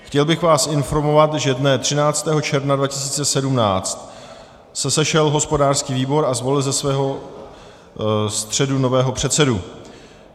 Chtěl bych vás informovat, že dne 13. června 2017 se sešel hospodářský výbor a zvolil ze svého středu nového předsedu.